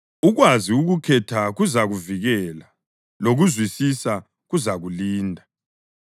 Ukwazi ukukhetha kuzakuvikela, lokuzwisisa kuzakulinda.